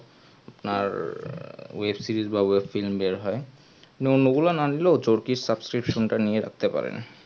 আর web-series বা web-film বের হয় অন্য গুলো না নিলেও চরকির susbcription টা নিতে পারেন